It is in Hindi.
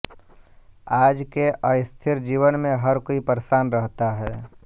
आज के अस्थिर जीवन में हर कोई परेशान रहता है